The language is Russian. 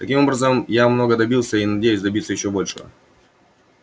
таким образом я многого добился и надеюсь добиться ещё большего